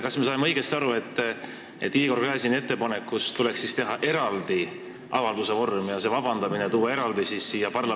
Kas me saame õigesti aru, et Igor Gräzini ettepanekust tuleks teha eraldi avalduse vorm ja tuua see siia parlamendi ette?